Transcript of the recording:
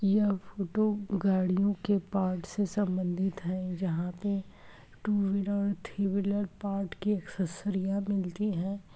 यह फोटो गाड़ियों के पार्ट्स से संबंधित है जहां पे two wheeler three wheeler part की एक्सेसरिया मिलती है।